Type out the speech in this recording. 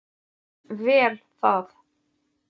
Vel það.